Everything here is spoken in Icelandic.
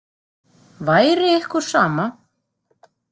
Væri ykkur sama?